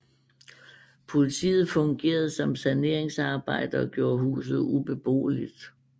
Politiet fungerede som saneringsarbejdere og gjorde huset ubeboeligt